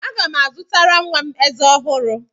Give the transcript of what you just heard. Aga m azụtara nwa m ezé ọhụrụ.